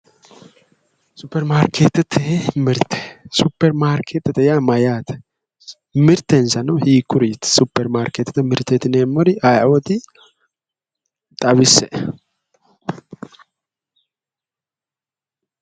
Supeirmaarkeetete mirte, Supeirmaarkeetete yaa mayyaate? mitensano hiikkuriiti? Supeirmaarkeetete mirteeti yineemmori ayeooti? xawisse'e.